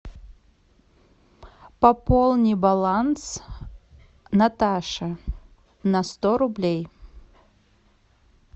пополни баланс наташи на сто рублей